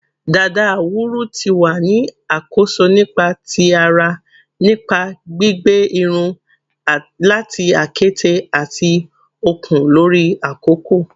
Dada awuru ti wa ni akoso nipa ti ara nipa gbigba irun lati akete ati okun lori akoko